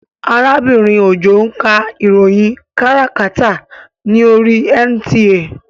Arábìnrin Òjó ń ka ìròyìn káràkátà ní oríi NTA